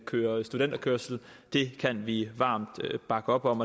køre studenterkørsel kan vi varmt bakke op om